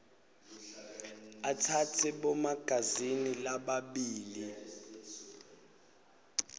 atsatse bomagazini lababili